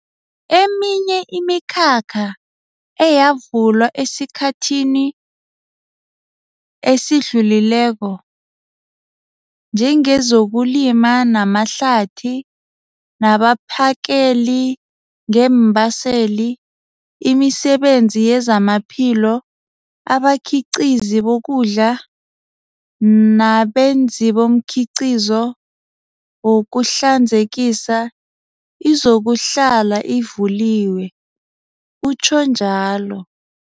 Eminye imikhakha eyavulwa esikhathithi esidlulileko, njengezokulima namahlathi, nabaphakeli ngeembaseli, imisebenzi yezamaphilo, abakhiqhizi bokudla nabenzibomkhiqhizo wokuhlanzekisa, izokuhlala ivuliwe, utjho njalo.